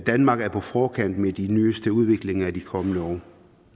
danmark er på forkant med de nyeste udviklinger i de kommende år